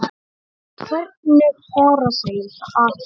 Hvernig fara þau að?